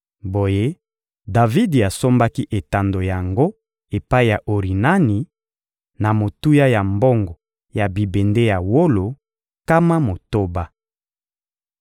Boye, Davidi asombaki etando yango epai ya Orinani, na motuya ya mbongo ya bibende ya wolo, nkama motoba.